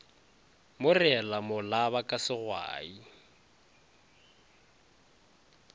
mo reela molaba ka segwai